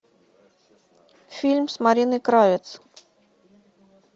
фильм с мариной кравец